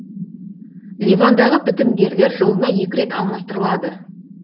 ливандағы бітімгерлер жылына екі рет алмастырылады